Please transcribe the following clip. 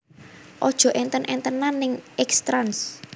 Ojo enten entenan ning X Trans